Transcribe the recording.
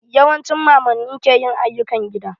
Yawancin mamanni ke yin ayyukan gida.